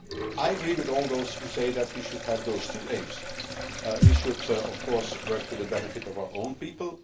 I agree with all those who say that we should have those two aims we should of course work to the benefit of our own people